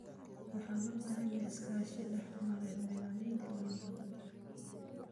Waxaa loo baahan yahay iskaashi dhex mara beeralayda iyo dawladda.